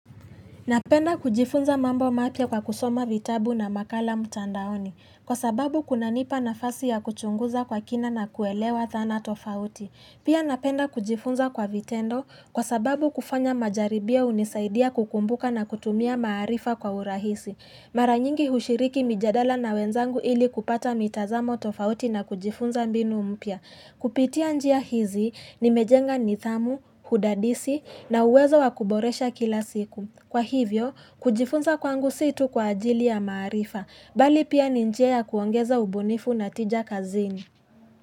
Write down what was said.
Napenda kujifunza mambo mapya kwa kusoma vitabu na makala mtandaoni, kwa sababu kuna nipa nafasi ya kuchunguza kwa kina na kuelewa dhana tofauti. Pia napenda kujifunza kwa vitendo kwa sababu kufanya majaribio hunisaidia kukumbuka na kutumia maarifa kwa urahisi. Mara nyingi hushiriki mijadala na wenzangu ili kupata mitazamo tofauti na kujifunza mbinu mpya. Kupitia njia hizi ni mejenga nithamu, hudadisi na uwezo wakuboresha kila siku. Kwa hivyo, kujifunza kwangu situ kwa ajili ya maarifa, bali pia ni njia ya kuongeza ubunifu na tija kazini.